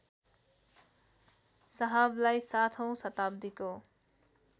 साहबलाई ७ औँ शताब्दीको